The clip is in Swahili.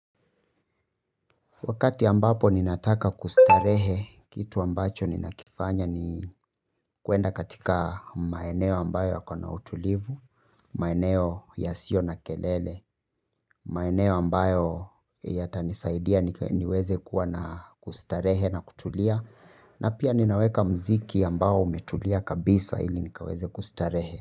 Wakati ambapo ninataka kustarehe, kitu ambacho ninakifanya ni kwenda katika maeneo ambayo yako na utulivu, maeneo yasiyo na kelele, maeneo ambayo yatanisaidia niweze kuwa na kustarehe na kutulia, na pia ninaweka muziki ambao umetulia kabisa ili nikaweze kustarehe.